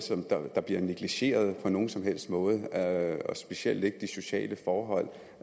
der bliver negligeret på nogen som helst måde og specielt ikke de sociale forhold